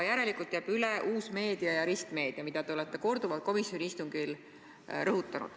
Järelikult jääb üle uue meedia ja ristmeedia valdkond, mida te olete korduvalt komisjoni istungil rõhutanud.